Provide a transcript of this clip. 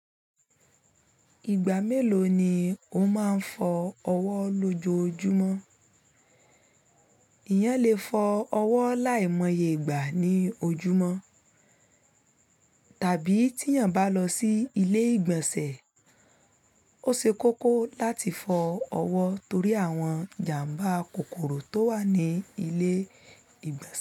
Ìgbà mélòó ni o máa ń fọ ọwọ́ lòjoojúmọ́? Ìyẹn lè fọ ọwọ́ láìmọye ìgbà ní ojúmọ́ tàbí tí yàn bá lọ sí ilé ìgbọ̀nsẹ̀, ó se kókó láti fọ ọwọ́ torí àwọn ìjàmbá kòkòrò tó wà ní ilé ìgbọ̀nsẹ̀.